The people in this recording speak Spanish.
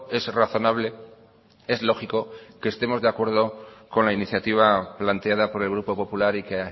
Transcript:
es razonable es lógico que estemos de acuerdo con la iniciativa planteada por el grupo popular y que